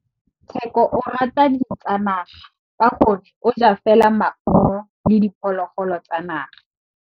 Tshekô o rata ditsanaga ka gore o ja fela maungo le diphologolo tsa naga.